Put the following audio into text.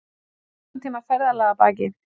Fimmtán tíma ferðalag að baki